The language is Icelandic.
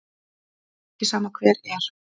Það er ekki sama hver er.